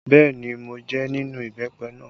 Bẹẹ ni, mo jẹ nínú ìbẹ́pẹ náà